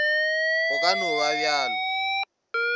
go ka no ba bjalo